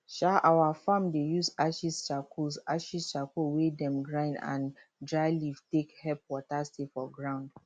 um our farm dey use ashes charcoal ashes charcoal wey dem grind and dry leaf take help water stay for ground